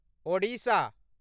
Odisha